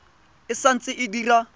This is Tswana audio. e sa ntse e dira